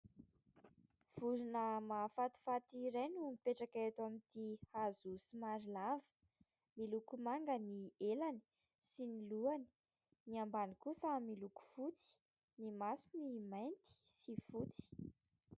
Vorona mahafatifaty iray no mipetraka eto amin'ity hazo somary lava. Miloko manga ny elany sy ny lohany. Ny ambany kosa miloko fotsy. Ny masony mainty sy fotsy.